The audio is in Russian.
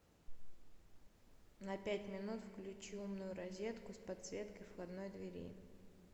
на пять минут включи умную розетку с подсветкой входной двери